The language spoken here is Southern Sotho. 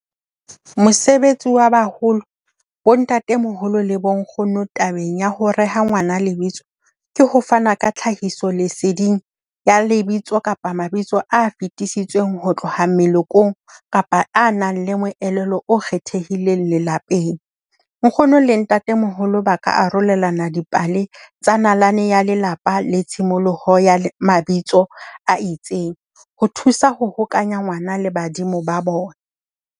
Mosebetsi wa baholo, bontate-moholo le bonkgono tabeng ya ho reha ngwana lebitso, ke ho fanwa ka tlhahiso leseding ya lebitso kapa mabitso a fetisitsweng ho tloha melekong kapa a nang le moelelo o kgethehileng lelapeng. Nkgono le ntatemoholo ba ka arolelana dipale tsa nalane ya lelapa le tshimoloho ya mabitso a itseng ho thusa ho hokanya ngwana le badimo ba bona.